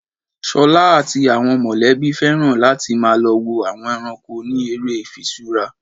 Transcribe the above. Ṣolá àti àwọn mọ̀lẹ́bí féràn láti má lọ wo àwọn ẹranko ni ère ifiṣura.